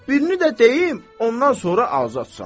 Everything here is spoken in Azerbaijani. Birini də deyim, ondan sonra azadsan.